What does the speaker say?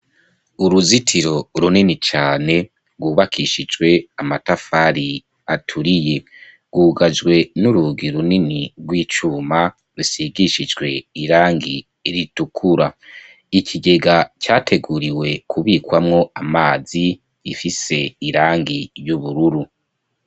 Uruzitiro runini cane, rwubakishijwe amatafari aturiye; rwugajwe n'urugi runini rw'icuma, rusigishijwe irangi ritukura; ikigega categuriwe kubikwamwo amazi, gifise irangi y'ubururu.